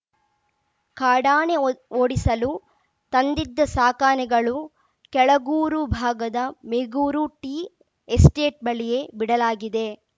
ಕಾಡಾನೆ ಓಡಿಸಲು ತಂದಿದ್ದ ಸಾಕಾನೆಗಳು ಕೆಳಗೂರು ಭಾಗದ ಮೇಗೂರು ಟೀ ಎಸ್ಟೇಟ್‌ ಬಳಿಯೇ ಬಿಡಲಾಗಿದೆ